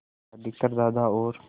अधिकतर दादा और